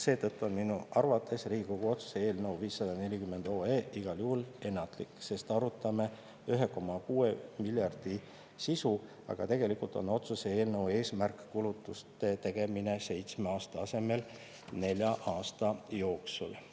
Seetõttu on minu arvates Riigikogu otsuse eelnõu 540 igal juhul ennatlik, sest arutame 1,6 miljardi sisu, aga tegelikult on otsuse eelnõu eesmärk kulutuste tegemine seitsme aasta asemel nelja aasta jooksul.